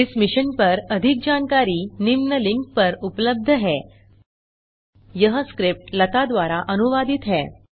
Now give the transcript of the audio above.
इस मिशन पर अधिक जानकारी निम्न लिंक पर उपलब्ध है httpspoken tutorialorgNMEICT Intro यह स्क्रिप्ट लता द्वारा अनुवादित है